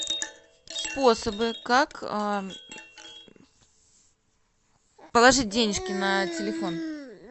способы как положить денежки на телефон